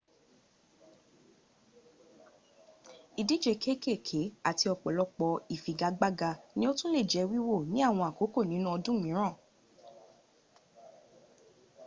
idije kekeeke ati opolopo ifigagagba ni o tun le je wiwo ni awon akoko ninu odun miran